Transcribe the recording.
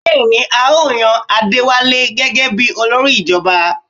Bẹ́ẹ̀ni, à ó yan Adéwálé gẹ́gẹ bí olórí ìjọba?